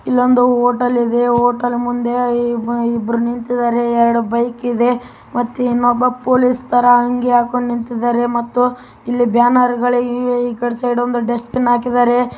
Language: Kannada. ಇಲ್ಲೊಂದು ಹೋಟೇಲ್‌ ಇದೆ ಹೋಟೇಲ್‌ ಮುಂದೆ ಇಬ್ಬರು ನಿಂತಿದ್ದಾರೆ. ಎರಡು ಬೈಕ್‌ ಇದೆ ಮತ್ತು ಇನ್ನೊಬ್ಬ ಪೋಲೀಸ್‌ ತರ ಅಂಗಿ ಹಾಕಿಕೊಂಡು ನಿಂತಿದ್ಧಾರೆ ಮತ್ತೆ ಇಲ್ಲಿ ಬ್ಯಾನರ್‌ ಇದೆ ಈ ಕಡೆ ಒಂದು ಡಸ್ಟ್‌ಬಿನ್‌ ಹಾಕಿದ್ದಾರೆ.